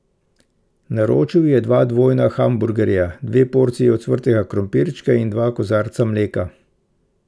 Naročil je dva dvojna hamburgerja, dve porciji ocvrtega krompirčka in dva kozarca mleka.